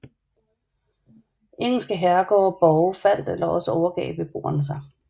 Engelske herregårde og borge faldt eller også overgav beboerne sig